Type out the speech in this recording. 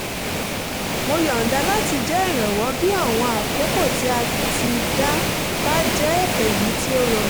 mo yọ̀nda láti jẹ́ ìrànwọ́ bí àwọn àkókò tí a ti dá bá jẹ́ èyí tí ó rọrùn